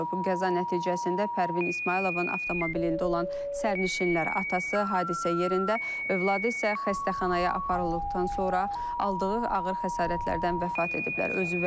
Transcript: Qəza nəticəsində Pərvin İsmayılovun avtomobilində olan sərnişinlər, atası hadisə yerində, övladı isə xəstəxanaya aparıldıqdan sonra aldığı ağır xəsarətlərdən vəfat ediblər.